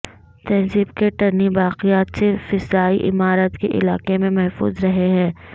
تہذیب کے ٹنی باقیات صرف فضائی عمارت کے علاقے میں محفوظ رہے ہیں